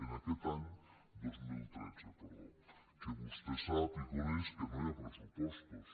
en aquest any dos mil tretze perdó que vostè sap i coneix que no hi ha pressupostos